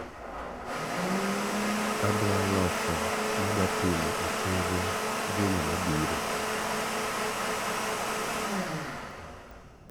adwa loso madwatimo e chenro juma mabiro